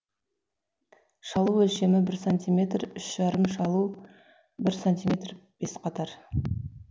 шалу өлшемі бір сантиметрүш жарым шалу бір сантиметр бес қатар